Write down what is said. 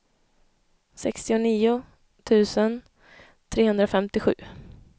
sextionio tusen trehundrafemtiosju